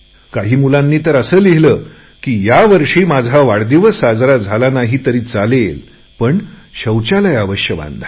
काही मुलांनी तर असे लिहिले की यावर्षी माझा वाढदिवस साजरा झाला नाही तरी चालेल पण शौचालय जरुर बनवून घ्या